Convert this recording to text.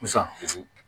Sisan